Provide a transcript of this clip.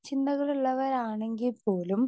speaker 2 ചിന്തകൾ ഉള്ളവർ ആണെങ്കിൽപോലും